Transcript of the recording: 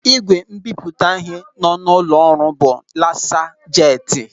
Ị́gwè mbipụta ịhe nọ n'ụlọ ọrụ bụ lasa jeti.